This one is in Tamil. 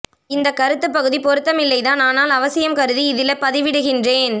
இந்த கருத்துப் பகுதி பொருத்தமில்லைத்தான் ஆனால் அவசியம் கருதி இதில பதிவிடுகின்றேன்